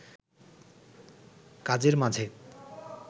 কাজের মাঝে